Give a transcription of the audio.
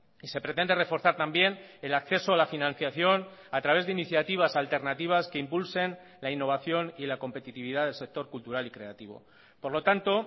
y se pretende reforzar también el acceso a la financiación a través de iniciativas alternativas que impulsen la innovación y la competitividad del sector cultural y creativo por lo tanto